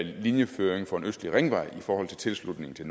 linjeføring for en østlig ringvej i forhold til tilslutningen til